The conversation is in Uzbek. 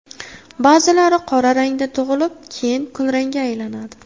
Ba’zilari qora rangda tug‘ilib, keyin kulrangga aylanadi.